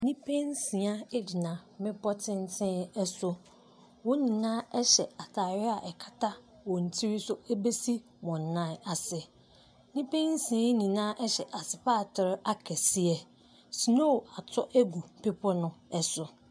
Nnipa nsia gyina bepɔ tenten so, wɔn nyinaa hyɛ ataade a ɛkata wɔn tiri so bɛsi wɔn nan ase. Nnipa nsia nyinaa hyɛ asopatere akɛseɛ, snow atɔ agu bepɔ ne so.